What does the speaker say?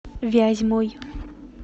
вязьмой